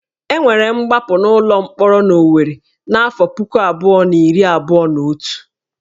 E nwere ngbapụ n'ụlọ mkpọrọ n'Owerri n'afọ puku abụọ na iri abụọ na otu